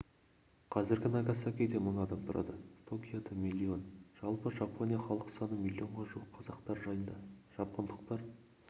қазір нагасакиде мың адам тұрады токиода миллион жалпы жапония халық саны милионға жуық қазақтар жайында жапондықтар